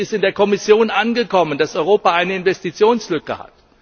Endlich ist in der Kommission angekommen, dass Europa eine Investitionslücke hat.